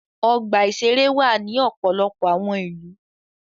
Ọgbà-ìṣeré wà ní ọ̀pọ̀lọpọ̀ àwọn ìlú.